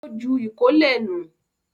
Ó ju ìkólẹ̀ nù